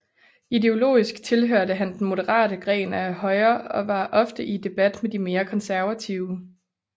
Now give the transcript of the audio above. Ideologiskt tilhørte han den moderate gren af højre og var ofte i debat med de mere konservative